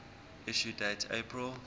issue date april